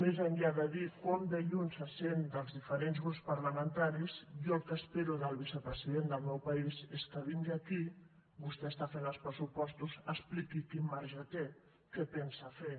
més enllà de dir com de lluny se sent dels diferents grups parlamentaris jo el que espero del vicepresident del meu país és que vingui aquí vostè està fent els pressupostos expliqui quin marge té què pensa fer